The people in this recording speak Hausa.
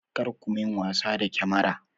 Kar ku min wasa da kyamara!